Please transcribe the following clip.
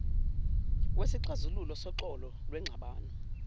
wesixazululo soxolo lwengxabano